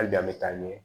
Hali an bɛ taa ɲɛ